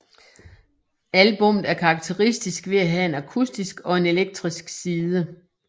Albummet er karakteristisk ved at have en akustisk og en elektrisk side